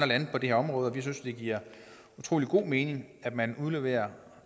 lande på det her område vi synes det giver utrolig god mening at man udleverer